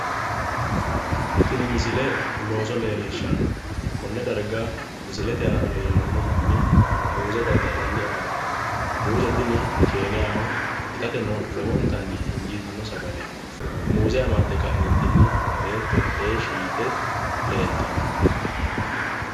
Tibi misile looso leellishshanno. Loosu darga misilete aana leellanno manni muuze dadda'lanni afamanno. Muuze tini keeniyaho. Itateno lowontanni injiitanno sagaleeti. Muuze amadde ka'eentinni beetto heeshshi yite leeltanno.